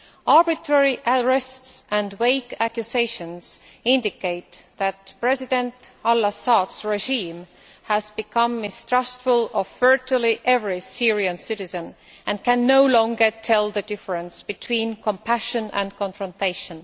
Arbitrary arrests and vague accusations indicate that President al Assad's regime has become mistrustful of virtually every Syrian citizen and can no longer tell the difference between compassion and confrontation.